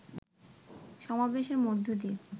সমাবেশের মধ্য দিয়ে